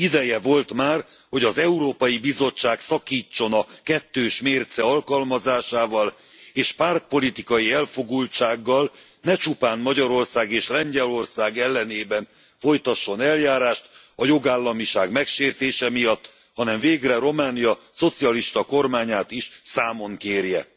Ideje volt már, hogy az Európai Bizottság szakítson a kettős mérce alkalmazásával, és pártpolitikai elfogultsággal ne csupán Magyarország és Lengyelország ellenében folytasson eljárást a jogállamiság megsértése miatt, hanem végre Románia szocialista kormányát is számon kérje.